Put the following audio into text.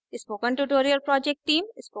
spoken tutorial project team: